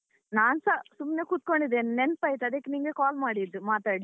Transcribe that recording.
ನಾನ್ಸ ಸುಮ್ನೆ ಕುತ್ಕೊಂಡಿದ್ದೀನಿ ನೆನ್ಪಾಯ್ತು ಅದಕ್ಕೆ ನಿಂಗೆ call ಮಾಡಿದ್ದು ಮಾತಾಡ್ಲಿಕ್ಕೆ.